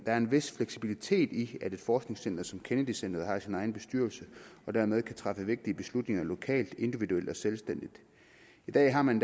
er en vis fleksibilitet i at et forskningscenter som kennedy centret har sin egen bestyrelse og dermed kan træffe vigtige beslutninger lokalt individuelt og selvstændigt i dag har man